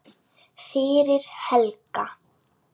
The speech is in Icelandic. fyrir Helga.